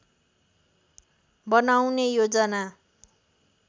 बनाउने योजना